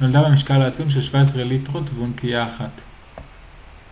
נולדה במשקל העצום של 17 ליטרות ואונקיה אחת